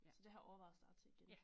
Så det har jeg overvejet at starte til igen